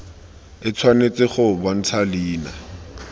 e tshwanetse go bontsha leina